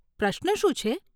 પ્રશ્ન શું છે?